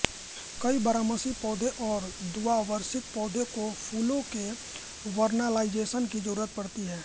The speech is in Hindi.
कई बारहमासी पौधों और द्विवार्षिक पौधों को फूलों के वेर्नालाइजेशन की जरुरत पड़ती है